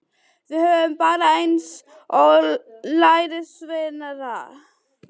Við vorum bara eins og lærisveinarnir.